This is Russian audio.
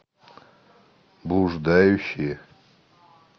блуждающие